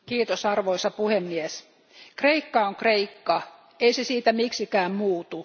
Arvoisa puhemies, Kreikka on Kreikka ei se siitä miksikään muutu.